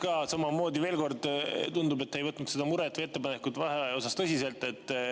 Jah, ka samamoodi veel kord: tundub, et te ei võtnud seda muret ja ettepanekut vaheaja kohta tõsiselt.